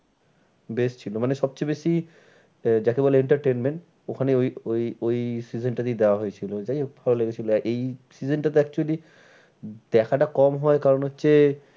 বেশ ছিল মানে সব চেয়ে বেশি আহ যাকে বলে entertainment ওখানে ওই ওই ওই season টাতেই দেওয়া হয়েছিল। যাই হোক ভালো লেগেছিল। আর এই season টাতে actually দেখাটা কম হয় কারণ হচ্ছে।